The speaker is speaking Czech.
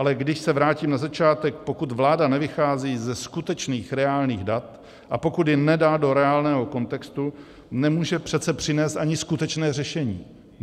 Ale když se vrátím na začátek - pokud vláda nevychází ze skutečných reálných dat a pokud je nedá do reálného kontextu, nemůže přece přinést ani skutečné řešení.